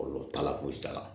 Kɔlɔlɔ t'a la fosi t'a la